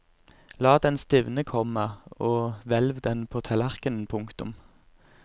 La den stivne, komma og hvelv den på tallerken. punktum